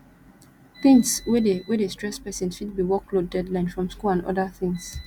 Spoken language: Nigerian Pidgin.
things wey dey wey dey stress person fit be workload deadline from school and oda things